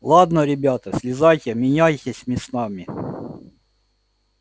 ладно ребята слезайте меняйтесь местами